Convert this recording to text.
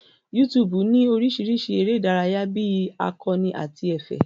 YouTube ní oríṣìíríṣìí eré ìdárayá bí akọ́ni àti ẹ̀fẹ̀.